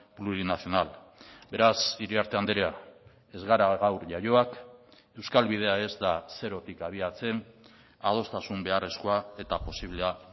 plurinacional beraz iriarte andrea ez gara gaur jaioak euskal bidea ez da zerotik abiatzen adostasun beharrezkoa eta posiblea